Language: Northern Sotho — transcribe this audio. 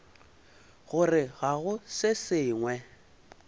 gore ga go se sengwe